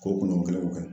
Kolon kelenw kɛ